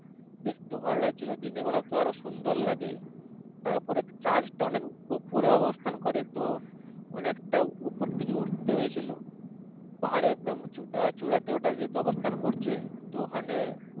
দেখতে ভালো লাগছিলো দিনের বেলা তো আরো সুন্দর লাগে তারপরে Church টা অনেক উপরে অবস্থান করে। তো অনেক টা উপরের দিকে উঠতে হয়েছিলো পাহাড়ে একদম আহ চূড়াতে ওঠার যেহেতু অবস্থান করছে তো ওখানে